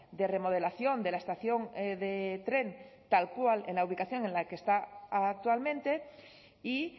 de remodelación de la estación de tren tal cual en la ubicación en la que está actualmente y